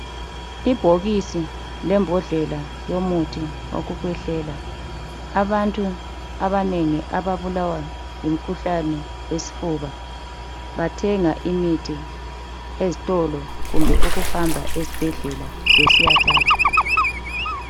Ibhokisi lebhodlela yomuthi wekukwehlela, abantu abanengi ababulawa yimkhuhlane wesfuba bathenga imithi ezitolo kumbe kuhamba ezibhedlela besyathatha.